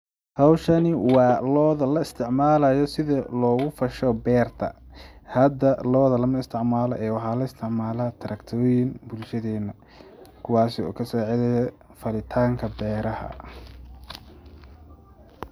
Howshani waa lo'da la isticmaalayo sida looga fasho beerta, hada lo'da lama isticmalo ee waxa la isticmala track ta weyn bulshadeena kuwasi oo kasaacidayo falitaanka beeraha.